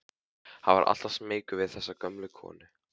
Hann var alltaf smeykur við þessa gömlu konu.